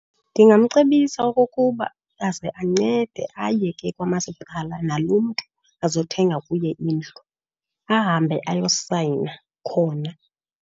Ndingamcebisa okokuba aze ancede aye ke kwamasipala nalo mntu azothenga kuye indlu, ahambe ayosayina khona.